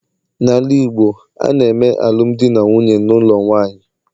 n'ala Igbo, a na-eme alụmdi na nwunye n'ụlọ nwanyị